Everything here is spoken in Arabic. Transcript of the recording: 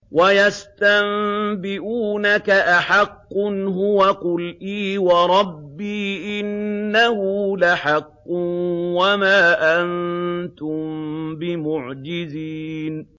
۞ وَيَسْتَنبِئُونَكَ أَحَقٌّ هُوَ ۖ قُلْ إِي وَرَبِّي إِنَّهُ لَحَقٌّ ۖ وَمَا أَنتُم بِمُعْجِزِينَ